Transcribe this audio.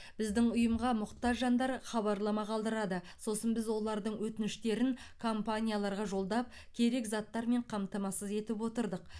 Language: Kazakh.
біздің ұйымға мұқтаж жандар хабарлама қалдырады сосын біз олардың өтініштерін компанияларға жолдап керек заттармен қамтамасыз етіп отырдық